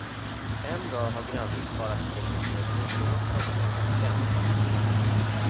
En dag har grannen sparat pengar till en mulåsna som han kan spänna framför plogen.